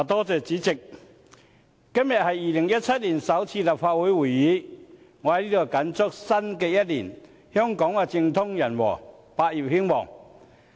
主席，今天是2017年首次立法會會議，我在此謹祝香港在新一年政通人和，百業興旺。